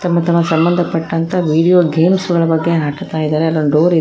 ತಮ್ಮ ತಮ್ಮ ಸಂಬಂಧಪಟ್ಟಂತ ವಿಡಿಯೋ ಗೇಮ್ಸ್ ಗಳ ಬಗ್ಗೆ ಹಾಕುತ್ತಾ ಇದ್ದಾರೆ ಅಲ್ಲೊಂದು ಡೋರ್ ಇದೆ.